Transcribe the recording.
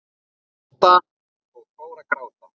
Kata og fór að gráta.